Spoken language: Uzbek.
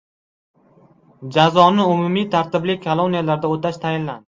Jazoni umumiy tartibli koloniyalarda o‘tash tayinlandi.